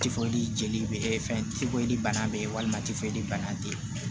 Tifoyi jeli bɛ kɛ fɛn tibɔ di bana bɛ yen walima tifoyi bana te yen